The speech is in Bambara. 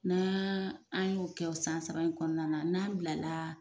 Nan an y'o kɛ san saba in kɔnɔna na n'an bilala